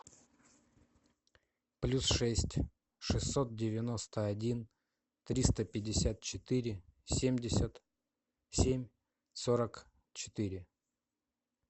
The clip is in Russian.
плюс шесть шестьсот девяносто один триста пятьдесят четыре семьдесят семь сорок четыре